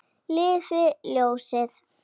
Lifi ljósið.